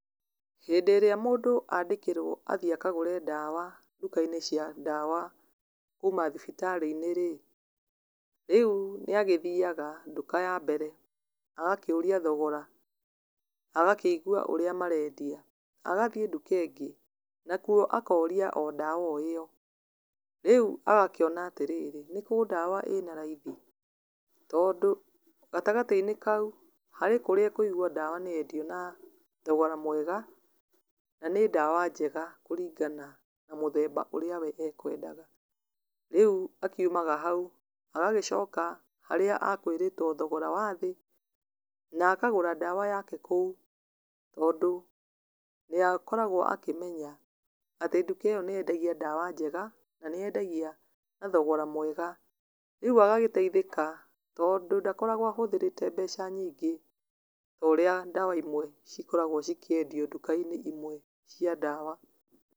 Hĩndĩ ĩrĩa mũndũ andĩkĩrwo athiĩ akagũre ndawa, nduka-inĩ cia ndawa kuuma thibitarĩ-inĩ rĩ, rĩu nĩ agĩthiaga nduka ya mbere, agakĩũria thogora, agakĩigwa ũrĩa marendia, agathiĩ nduka ĩngĩ na kuo akoria o ndawa o ĩyo, rĩu agakĩona atĩrĩrĩ nĩ kũu ndawa ĩnararaithi, tondũ gatagatĩ-inĩ kau, harĩ kũria ekũigwa ndawa nĩ yendio na thogora mwega, na nĩ ndawa njega kũringana na mũthemba ũrĩa we ekwendaga, rĩu akiumaga hau, agagĩcoka harĩa akwĩrĩtwo thogora wa thĩ, na akagũra ndawa yake kũu, tondũ nĩ akoragwo akĩmenya, atĩ nduka ĩyo nĩ yendagia ndawa njega, na nĩ yendagia na thogora mwega, rĩu agagĩteithĩka tondũ ndakoragwo ahũthĩrĩte mbeca nyingĩ, toria ndawa ĩmwe cikoragwo cikĩendio nduka-inĩ ĩmwe cia ndawa.